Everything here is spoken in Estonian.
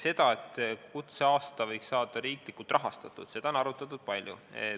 Seda, et kutseaasta võiks saada riiklikult rahastatud, on arutatud palju.